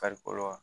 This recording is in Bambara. Farikolo la